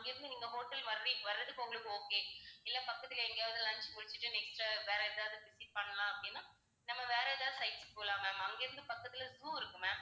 அங்கிருந்து நீங்க hotel வர்றீ~ வர்றதுக்கு உங்களுக்கு okay இல்லை பக்கத்துல எங்கயாவது lunch முடிச்சுட்டு next வேற எதாவது சுற்றி பண்ணலாம் அப்படின்னா நம்ம வேற ஏதாவது site க்கு போலாம் ma'am. அங்கிருந்து பக்கத்துல zoo இருக்கு ma'am